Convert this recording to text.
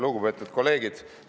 Lugupeetud kolleegid!